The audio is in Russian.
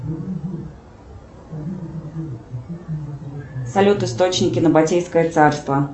салют источники набатейское царство